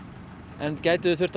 en gætuð þið þurft að